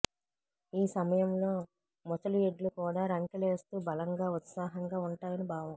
ఈ సమయంలో ముసలిఎడ్లు కూడా రంకెలేస్తూ బలంగా ఉత్సాహంగా ఉంటాయని భావం